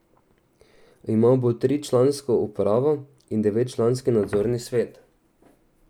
Imel bo tričlansko upravo in devetčlanski nadzorni svet.